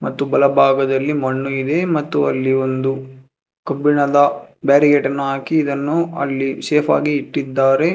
ಮತ್ತು ಬಲಭಾಗದಲ್ಲಿ ಮಣ್ಣು ಇದೆ ಮತ್ತು ಅಲ್ಲಿ ಒಂದು ಕಬ್ಬಿಣದ ಬ್ಯಾರಿಕೇಡ್ ಅನ್ನು ಹಾಕಿ ಇದನ್ನು ಅಲ್ಲಿ ಸೇಫ್ ಆಗಿ ಇಟ್ಟಿದ್ದಾರೆ.